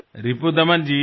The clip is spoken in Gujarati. રિપુદમનજી